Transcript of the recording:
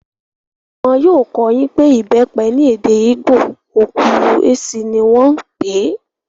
Wọn yóò kọ́ ọ yín pé ìbẹ́pẹ ní èdè ìgbò, okwuru-ezi ní wọ́n n pè é